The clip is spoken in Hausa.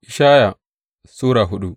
Ishaya Sura hudu